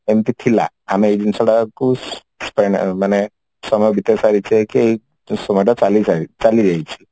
ଏମିତି ଥିଲା ଆମେ ଏଇ ଜିନିଷ ଟାକୁ କାଇଁ ନା ମାନେ ସମୟ ବିତେଇ ସାରିଛେ କି ସେ ସମୟଟା ଚାଲି ସାରି ଚାଲି ଯାଇଛି